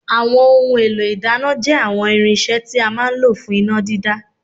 Àwọn ohun èlò ìdáná jẹ́ àwọn irinṣẹ́ tí a máa ń lò fún iná dídá